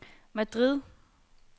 Madrid